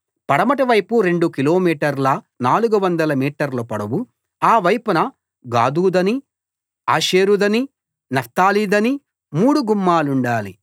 పడమటి వైపు రెండు కిలోమీటర్ల 400 మీటర్ల పొడవు ఆ వైపున గాదుదనీ ఆషేరుదనీ నఫ్తాలిదనీ మూడు గుమ్మాలుండాలి